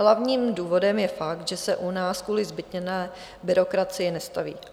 Hlavním důvodem je fakt, že se u nás kvůli zbytněné byrokracii nestaví.